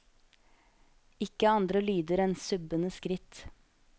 Ikke andre lyder enn subbende skritt.